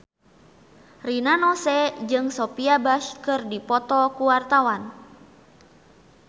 Rina Nose jeung Sophia Bush keur dipoto ku wartawan